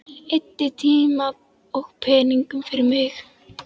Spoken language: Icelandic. Eyddi tíma og peningum fyrir mig.